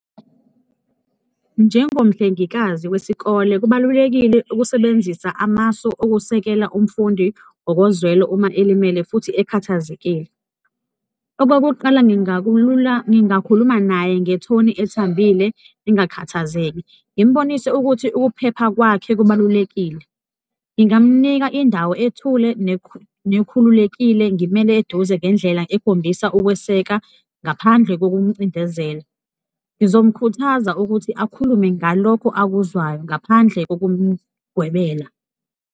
Njengomhlengikazi wesikole, kubalulekile ukusebenzisa amasu okusekela umfundi ngokozwelo uma elimele futhi ekhathazekile. Okokuqala, ngingakulula ngingakhuluma naye ngethoni ethambile, ngingakhathazeki, ngimbonise ukuthi ukuphepha kwakhe kubalulekile, ngingamnika indawo ethule nekhululekile, ngimele eduze ngendlela ekhombisa ukweseka ngaphandle kokumcindezela, ngizomkhuthaza ukuthi akhulume ngalokho akuzwayo ngaphandle kokumgwebela.